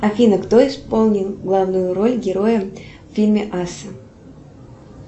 афина кто исполнил главную роль героя в фильме асса